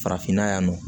Farafinna yan nɔ